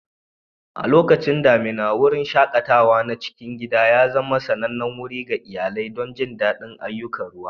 A lokacin damina, wurin shaƙatawa na cikin gida ya zama sanannen wuri ga iyalai don jin daɗin ayyukan ruwa.